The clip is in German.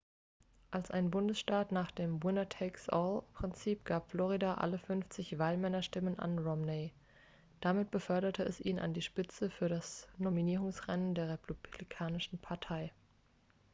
"als ein bundesstaat nach dem "winner takes all""-prinzip gab florida alle fünfzig wahlmännerstimmen an romney. damit beförderte es ihn an die spitze für das nominierungsrennen der republikanischen partei.